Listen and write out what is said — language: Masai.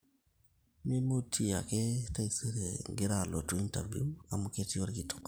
mimutie ake taisere ingira alotu interview amu ketii olkitok